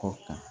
Kɔ ta